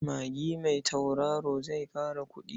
Magi mai tautaro zai ƙara kuɗi.